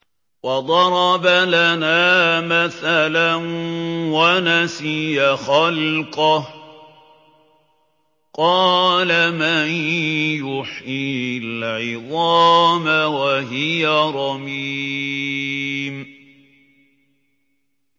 وَضَرَبَ لَنَا مَثَلًا وَنَسِيَ خَلْقَهُ ۖ قَالَ مَن يُحْيِي الْعِظَامَ وَهِيَ رَمِيمٌ